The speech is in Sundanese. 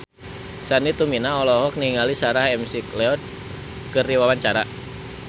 Sandy Tumiwa olohok ningali Sarah McLeod keur diwawancara